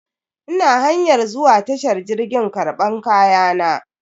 Ina hanyar zuwa tashar jirgi karban kayana.